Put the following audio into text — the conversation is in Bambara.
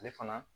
Ale fana